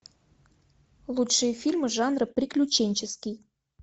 лучшие фильмы жанра приключенческий